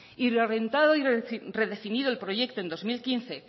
y lo y redefinido el proyecto en dos mil